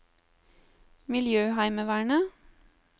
miljøheimevernet